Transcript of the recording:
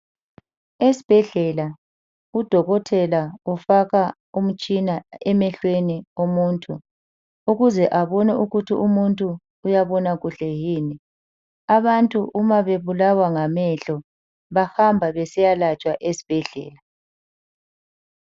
Esibhedlela udokotela ufaka umtshina emehlweni womuntu ukuze abone ukuthi umuntu uyabona kuhle yini, abantu uma bebulawa ngamehlo bahamba besiya latshwa esibhedlela.